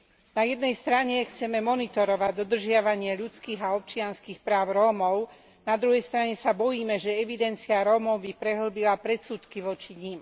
Na jednej strane chceme monitorovať dodržiavanie ľudských a občianskych práv Rómov, na druhej strane sa bojíme, že evidencia Rómov by prehĺbila predsudky voči nim.